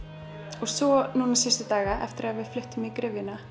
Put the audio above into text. og svo núna síðustu daga eftir að við fluttum í gryfjuna